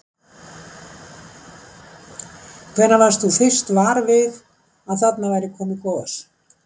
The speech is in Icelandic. Hvenær varst þú fyrst var við að þarna væri komið gos?